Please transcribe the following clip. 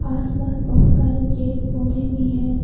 आसपास बहोत सारे पेड़ पौधे भी हैं।